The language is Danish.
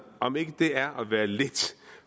om ikke det er at være lidt